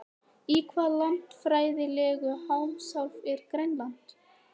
Í hvaða landfræðilegu heimsálfu er Grænland?